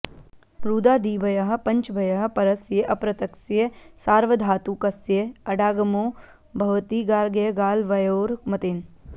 रुदादिभ्यः पञ्चभ्यः परस्य अपृक्तस्य सार्वधातुकस्य अडागमो भवति गार्ग्यगालवयोर् मतेन